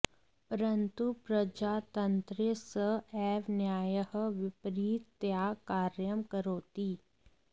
परन्तु प्रजातन्त्रे स एव न्यायः विपरिततया कार्यं करोति